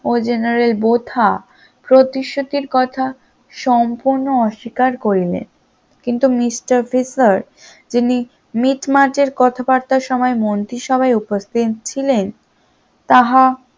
ও general Botha প্রতিশ্রুতির কথা সম্পূর্ণ অস্বীকার করলেন কিন্তু mister তিনি মিটমাট এর কথাবার্তা সময় মন্ত্রিসভায় উপস্থিত ছিলেন, তাহা